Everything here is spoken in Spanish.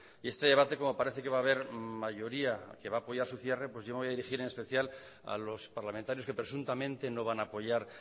y este debate como parece que va a haber mayoría que va a apoyar su cierre pues yo me voy a dirigir en especial a los parlamentarios que presuntamente no van a apoyar